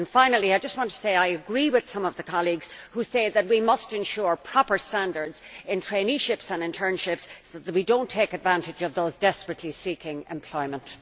Finally, I just want to say I agree with some of the colleagues who say that we must ensure proper standards in traineeships and internships so that we do not take advantage of those desperately seeking employment.